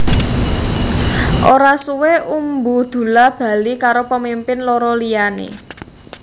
Ora suwé Umbu Dulla bali karo pemimpin loro liyané